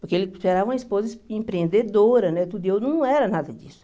Porque ele esperava uma esposa empreendedora, né tudo, e eu não era nada disso.